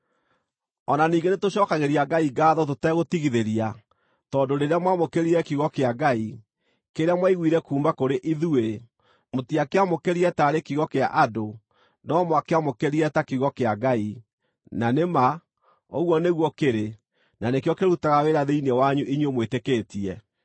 O na ningĩ nĩtũcookagĩria Ngai ngaatho tũtegũtigithĩria tondũ rĩrĩa mwamũkĩrire kiugo kĩa Ngai, kĩrĩa mwaiguire kuuma kũrĩ ithuĩ, mũtiakĩamũkĩrire taarĩ kiugo kĩa andũ, no mwakĩamũkĩrire ta kiugo kĩa Ngai, na nĩ ma, ũguo nĩguo kĩrĩ, na nĩkĩo kĩrutaga wĩra thĩinĩ wanyu inyuĩ mwĩtĩkĩtie.